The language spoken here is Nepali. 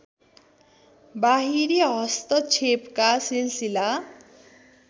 बाहिरी हस्तक्षेपका सिलसिला